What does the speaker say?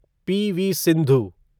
PV. Sindhu